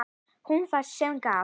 Hún var sú sem gaf.